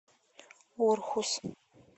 орхус